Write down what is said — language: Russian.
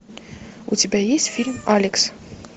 у тебя есть фильм алекс